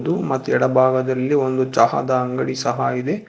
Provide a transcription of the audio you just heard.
ಉ ಮತ್ ಎಡ ಭಾಗದಲ್ಲಿ ಒಂದು ಚಹಾದ ಅಂಗಡಿ ಸಹ ಇದೆ.